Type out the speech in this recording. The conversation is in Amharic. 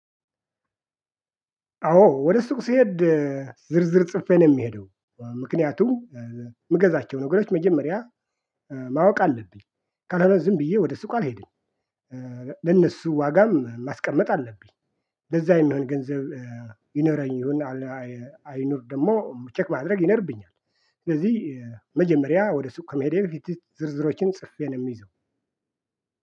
አዎ ወደ ሱቅ ስሄድ ዝርዝር ጽፌ ነው የምሄደው ምክንያቱም እ ምገዛቸው ነገሮች መጀመሪያ እ ማወቅ አለብኝ ካልሆነ ዝም ብዬ ወደ ሱቅ አልሄድም። ለነሱ ዋጋም ማስቀመጥ አለብኝ። ለዛ የሚሆን ገንዘብ እ ይኖረኝ ይሁን አይኑር ደግሞ ቼክ ማድረግ ይኖርብኛል። ስለዚህ እ መጀመሪያ ወደ ሱቅ ከመሄዴ በፊት ዝርዝሮችን ጽፌ ነው የሚይዘው።